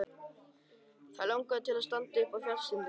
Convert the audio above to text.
Þær langaði til að standa uppi á fjallstindinum.